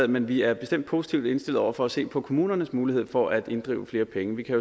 men vi er bestemt positivt indstillet over for at se på kommunernes mulighed for at inddrive flere penge vi kan